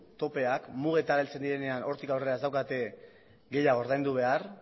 mugetara heltzen direnean hortik aurrera ez daukate gehiago ordaindu behar